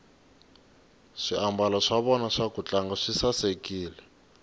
swiambalo swa vona swa kutlanga swi sasekile